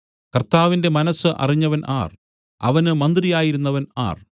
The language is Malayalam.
കർത്താവിന്റെ മനസ്സ് അറിഞ്ഞവൻ ആർ അവന് മന്ത്രിയായിരുന്നവൻ ആർ